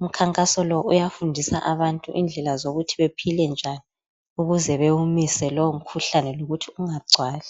Umkhankaso lo uyafundisa abantu indlela zokuthi bephile njani ukuze bewumise lowo mkhuhlane lokuthi ungagcwali.